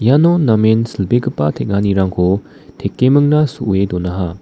iano namen silbegipa teng·anirangko tekemingna so·e donaha.